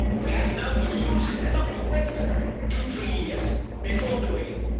You have now to use it and not wait two or three years before doing it.